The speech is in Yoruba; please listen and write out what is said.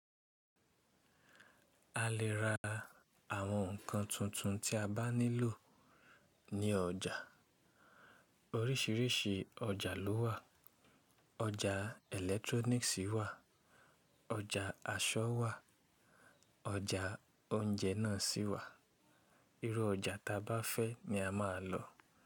A lè ra àwọn ǹkan tuntun tí a bá nílò ní ọjà. Oríṣìíríṣìí ọjà ló wà. Ọjà electronics wà, ọjà aṣọ wà, ọjà oúnjẹ náà sì wà. Irú ọjà ta bá fẹ́ ni a máa lọ.